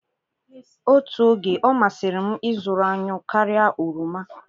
Otu oge, ọ masịrị m ịzụrụ anyụ karịa oroma.